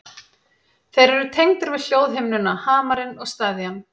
Þeir eru tengdir við hljóðhimnuna, hamarinn og steðjann.